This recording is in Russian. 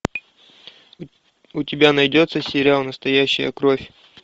у тебя найдется сериал настоящая кровь